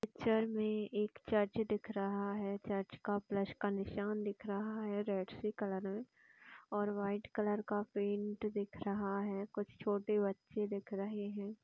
Picture में एक church दिख रहा है । चर्च का प्लस का निशान दिख रहा है रेड कलर में और व्हाइट कलर का पेंट दिख रहा है । कुछ छोटे बच्चे दिख रहे है ।